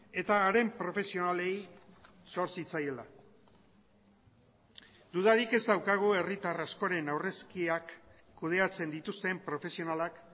eta haren profesionalei zor zitzaiela dudarik ez daukagu herritar askoren aurrezkiak kudeatzen dituzten profesionalak